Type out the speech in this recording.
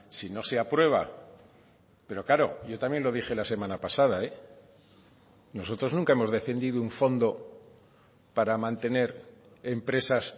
si no se ha aprueba pero claro yo también lo dije la semana pasada nosotros nunca hemos defendido un fondo para mantener empresas